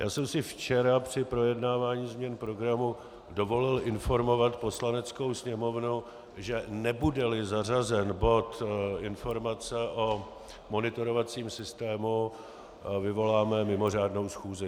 Já jsem si včera při projednávání změn programu dovolil informovat Poslaneckou sněmovnu, že nebude-li zařazen bod informace o monitorovacím systému, vyvoláme mimořádnou schůzi.